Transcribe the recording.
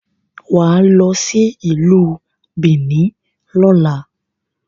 Wà á lọ sí Ìlú Bìíní lọ́la.